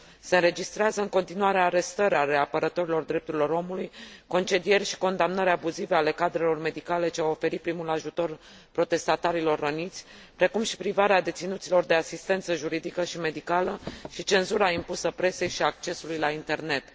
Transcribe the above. Se înregistrează în continuare arestări ale apărătorilor drepturilor omului, concedieri și condamnări abuzive ale cadrelor medicale ce au oferit primul ajutor protestatarilor răniți, precum și privarea deținuților de asistență juridică și medicală și cenzura impusă presei și accesului la internet.